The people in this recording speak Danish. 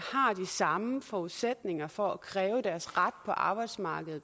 samme forudsætninger for at kræve deres ret på arbejdsmarkedet